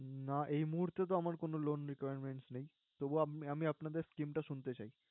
না এই মুহুর্তে তে তো আমার loan requirements নেই। তবুও আমি আপনাদের scheme টা শুনতে চাই।